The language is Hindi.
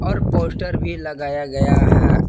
और पोस्टर भी लगाया गया है।